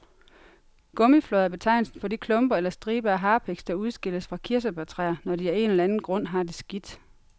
Gummiflåd er betegnelsen for de klumper eller striber af harpiks, der udskilles fra kirsebærtræer, når de af en eller anden grund har det skidt.